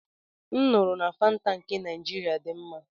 M nụrụ na Fanta nke Naịjirịa dị mma.